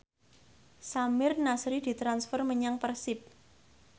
Samir Nasri ditransfer menyang Persib